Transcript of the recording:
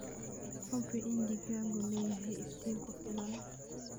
Hubi in digaaggu leeyahay iftiin ku filan.